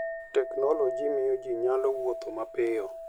Teknoloji miyo ji nyalo wuotho mapiyo.